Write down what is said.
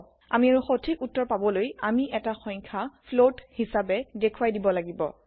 আমি আৰু সথিক উত্তৰ পাবলৈ আমি এতা সংখ্য ফ্লোট হিচাপে দেখুৱাই দিব লাগিব